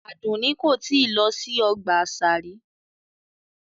Adunni ko tii lo si ọgba asa ri